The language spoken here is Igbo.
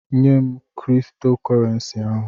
Nyem Kristo korensi ahụ!